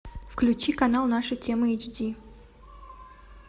включи канал наша тема эйч ди